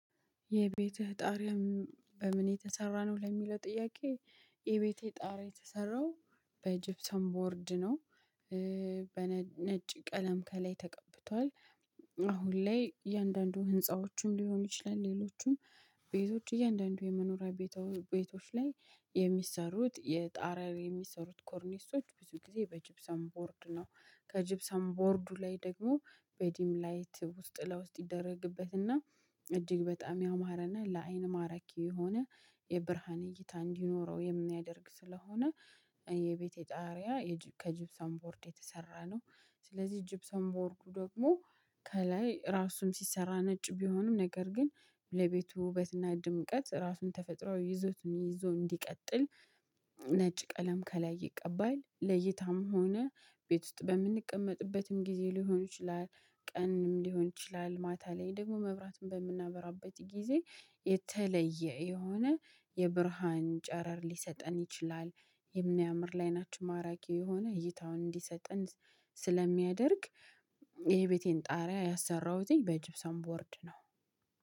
የቤትህ ጣሪያ በምን የተሰራ ነው ለሚለው ጥያቄ የቤቴ ጣሪያ የተሰራው በጅብሰን ቦርድ ነው። በነጭ ቀለም ከላይ ተቀብቷል። አሁን ላይ እያንዳንዱ ህንፃዎችን ሊሆን ይችላል ሌሎቹም ቤቶች እያንዳንዱ የመኖሪያ ቤቶች ላይ የሚሰሩት የጣሪያው የሚሰሩት ኮርኒሶች ብዙ ጊዜ በጅብሰን ቦርድ ነው። ከጅብሰን ቦርዱ ላይ ደግሞ በዲም ላይት ውስጥ ለውስጥ ይደረግበትና እጅግ በጣም ያማረና ለአይን ማረኪ የሆነ የብርሃን እይታ እንዲኖረው የሚያደርግ ስለሆነ። የቤቴ ጣሪያ ከጅብሰን ቦርድ የተሰራ ነው። ስለዚህ ጅብሰን ቦርዱ ደግሞ ከላይ ራሱን ሲሰራ ነጭ ቢሆንም ነገር ግን ለቤቱ ውበትና ድምቀት ራሱን ተፈጥሮ ይዞትን ይዞ እንዲቀጥል። ነጭ ቀለም ከላይ ይቀባል። ለእይታም ሆነ ቤት ውስጥ በምንቀመጥበትም ጊዜ ሊሆን ይችላል። ቀንም ሊሆን ይችላል ማታ ላይ ደግሞ መብራትን በምናበራበት ጊዜ የተለየ የሆነ የብርሃን ጨረር ሊሰጠን ይችላል። የሚያምር ላይ ናችሁ ማራኪ የሆነ እይታውን እንዲሰጥን ስለሚያደርግ የቤቴን ጣሪያ ያሰራሁትኝ በጅብሰም ቦርድ ነው